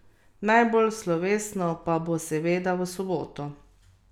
Najbolj slovesno pa bo seveda v soboto.